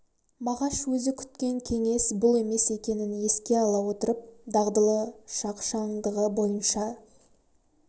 мағаш өзі күткен кеңес бұл емес екенін еске ала отырып дағдылы шағшандығы бойынша